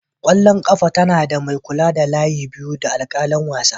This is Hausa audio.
ƙwallon ƙafa tana da mai kula da layi biyu da alƙalin wasa.